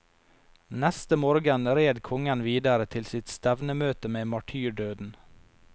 Neste morgen red kongen videre til sitt stevnemøte med martyrdøden.